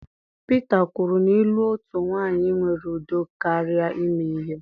Peter kwuru na ịlụ otu nwanyị nwere udo karịa ime ihe.